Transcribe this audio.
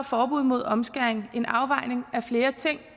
forbud mod omskæring en afvejning af flere ting